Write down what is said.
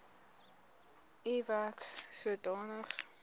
u werk sodanig